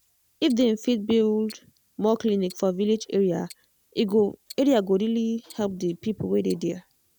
if dem fit build more clinic for village area e go area e go really help the people wey dey there.